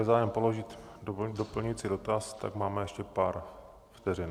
Je zájem položit doplňující dotaz, tak máme ještě pár vteřin.